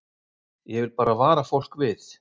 Ég vil bara vara fólk við.